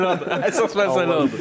Əsas məsələ odur, əsas məsələ odur.